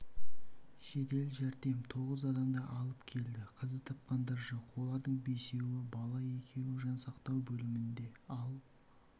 жедел жәрдем тоғыз адамды алып келді қаза тапқандар жоқ олардың бесеуі бала екеуі жансақтау бөлімінде ал